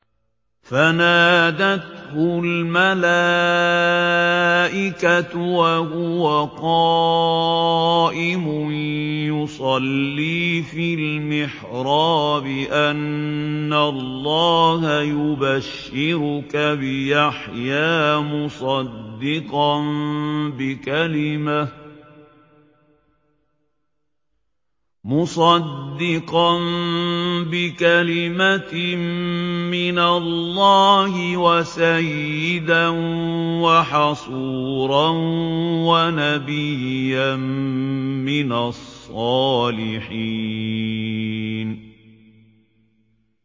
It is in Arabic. فَنَادَتْهُ الْمَلَائِكَةُ وَهُوَ قَائِمٌ يُصَلِّي فِي الْمِحْرَابِ أَنَّ اللَّهَ يُبَشِّرُكَ بِيَحْيَىٰ مُصَدِّقًا بِكَلِمَةٍ مِّنَ اللَّهِ وَسَيِّدًا وَحَصُورًا وَنَبِيًّا مِّنَ الصَّالِحِينَ